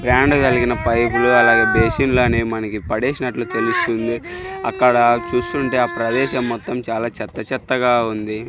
Brand కలిగిన పైపు లు అలాగే బేషన్ల అనేవి మనకి పడేసినట్లు తెలుస్తుంది అక్కడ చూస్తుంటే ఆ ప్రదేశం మొత్తం చాలా చెత్త చెత్తగా ఉంది.